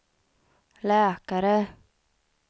läkare